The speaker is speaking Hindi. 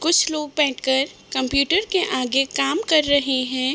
कुछ लोग बैठ कर कंप्यूटर के आगे काम कर रहे हैं |